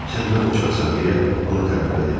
Sən nə qoçaqsan deyə onu təriflədi.